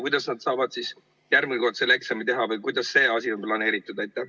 Kuidas nad saavad järgmine kord selle eksami teha või kuidas see asi on planeeritud?